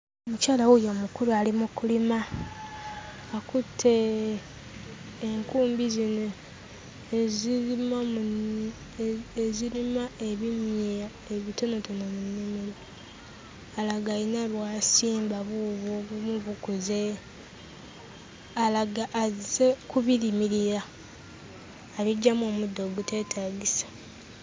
Omukyala wuuyo mukulu ali mu kulima. Akutte enkumbi zino ezirima mu nnimi, ezirima ebinnya ebitonotono mu nnimiro. Alaga alina bw'asimba buubwo obumu bukuze, alaga azze kubirimirira, abiggyamu omuddo oguteetaagisa.